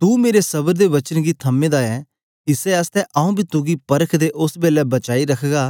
तू मेरे सबर दे वचन गी थमे दा ऐ इसै आसतै आऊँ बी तुगी परख दे उस्स बेलै बचाई रखगा